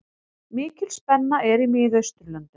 Mikil spenna er í Miðausturlöndum.